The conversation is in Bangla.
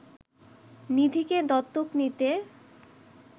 নিধিকে দত্তক নিতে